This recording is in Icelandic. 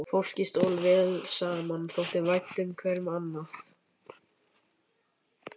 Fólkið stóð vel saman, þótti vænt hverju um annað.